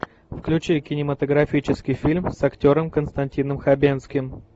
включи кинематографический фильм с актером константином хабенским